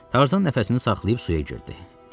Tarzan nəfəsini saxlayıb suya girdi.